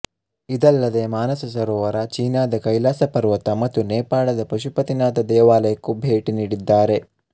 ಇದಲ್ಲದೆ ಮಾನಸ ಸರೋವರ ಚೀನಾದ ಕೈಲಾಸ ಪರ್ವತ ಮತ್ತು ನೇಪಾಳದ ಪಶುಪತಿನಾಥ ದೇವಾಲಯಕ್ಕೂ ಭೇಟಿ ನೀಡಿದ್ದಾರೆ